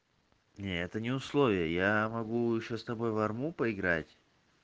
нет это не условия я могу ещё с тобой в арму поиграть